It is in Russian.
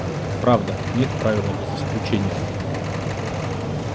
правда нет правила без исключения